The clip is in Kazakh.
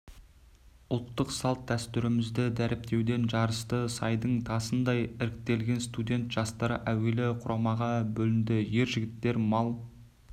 ұлттық салт-дәстүрімізді дәріптеуден жарысты сайдың тасындай іріктелген студент жастар әуелі құрамаға бөлінді ер жігіттер мал